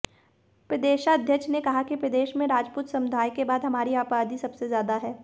प्रदेशाध्यक्ष ने कहा कि प्रदेश में राजूपत समुदाय के बाद हमारी आबादी सबसे ज्यादा है